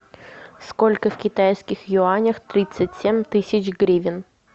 сколько в китайских юанях тридцать семь тысяч гривен